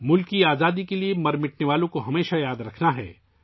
ملک کی آزادی کے لیے مر مٹنے والوں کو ہمیشہ یاد رکھنا ہے